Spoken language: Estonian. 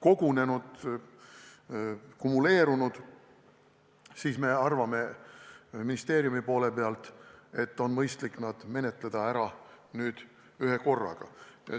kogunenud, kumuleerunud, siis me ministeeriumis arvame, et nüüd on mõistlik menetleda need ära ühekorraga.